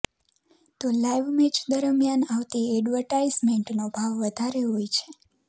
તો live match દરમિયાન આવતી એડવર્ટાઇઝમેન્ટનો ભાવ વધારે હોય છે